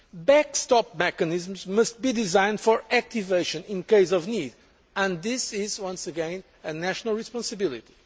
do so. Backstop mechanisms must be designed for activation in case of need and this is, once again, a national responsibility.